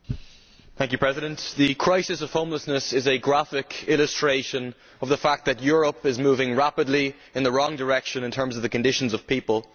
Madam President, the crisis of homelessness is a graphic illustration of the fact that Europe is moving rapidly in the wrong direction in terms of the conditions of the people.